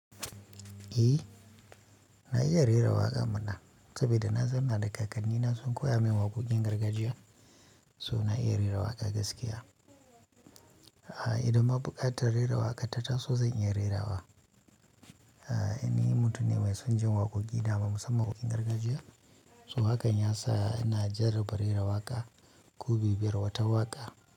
Eh na iya rera waƙa mana saboda na zamaa da kakannina sun koya min waƙoƙin gargajiya, so na iya rera waƙa gaskiya. Idan ma buƙatar rera waƙa ta taso zan iya rera wa. Ni mutum ne mai son jin waƙoƙi, dama musamman waƙoƙin gargajiya. So haka ya sa ina jarraba rera waƙa, ko bibayar wata waƙa.